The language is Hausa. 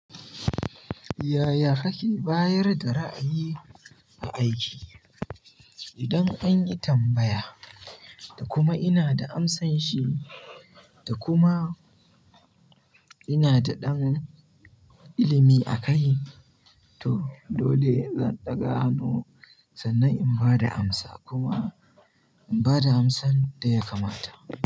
Yaya kake bayar da ra'ayi ga aiki? Idan an yi tambaya da kuma ina da amsanshi da kuma ina da ɗan ilimi a kai to dole zan ɗaga hannu sannan in ba da amsa kuma in ba da amsan da ya kamata.